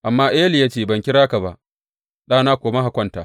Amma Eli ya ce, Ban kira ka ba, ɗana koma ka kwanta.